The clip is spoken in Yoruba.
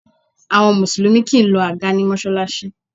Àwọn Mùsùlùmí kì í lọ àga ní Mọ́ṣáláṣí